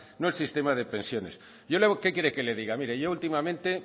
no el sistema de pensiones yo qué quiere que le diga mire yo últimamente